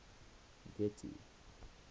getty